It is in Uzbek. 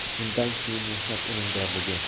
Undan keyin mehnat unumdorligi.